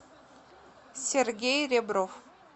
сергей ребров